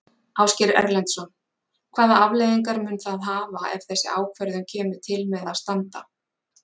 Ásgeir Erlendsson: Hvaða afleiðingar mun það hafa ef þessi ákvörðun kemur til með að standa?